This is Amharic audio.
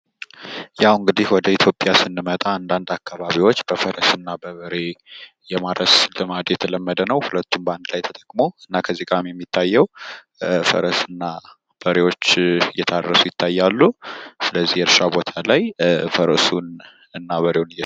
ያው እንግዲህ ወደ ኢትዮጵያ ስንመጣ አንዳንድ አካባቢዎች በፈረስና በበሬ የማረስ ልማድ የተለመደ ነው። ሁለቱን ባንድ ላይ ተጠቅመው እና ከዚህ ላይ የሚታዬው ፈረስና በሬዎች እየታረሱ ይታያሉ። ስለዚህ የእርሻው ቦታ ላይ ፈረሱንና በሬውን